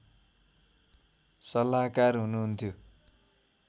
सल्लाहकार हुनुहुन्थ्यो